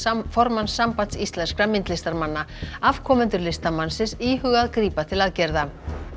formanns Sambands íslenskra myndlistarmanna afkomendur listamannsins íhuga að grípa til aðgerða